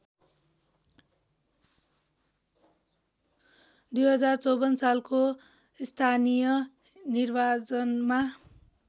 २०५४ सालको स्थानीय निर्वाचनमा